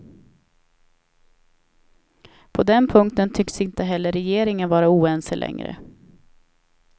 På den punkten tycks inte heller regeringen vara oense längre.